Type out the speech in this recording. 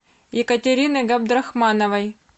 екатерины габдрахмановой